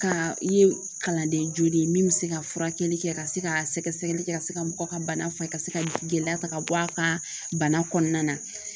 Ka i ye kalanden joli ye min bɛ se ka furakɛli kɛ ka se ka sɛgɛsɛgɛli kɛ ka se ka mɔgɔ ka bana faga ka se ka gɛlɛya ta ka bɔ a ka bana kɔnɔna na